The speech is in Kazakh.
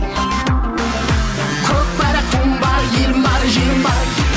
көкпар туым бар елім бар жерім бар